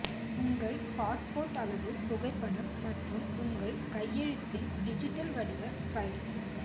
உங்கள் பாஸ்போர்ட் அளவு புகைப்படம் மற்றும் உங்கள் கையெழுத்தின் டிஜிட்டல் வடிவ பைல்